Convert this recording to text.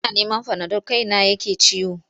Ina neman fanadol kaina ne yake ciwo.